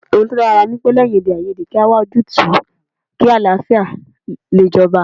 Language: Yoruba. Ohun tí ó dára ní pé ,lẹ́yìn èdèàìyedè kí a wá ojútùú kí àlàáfíà lè jọba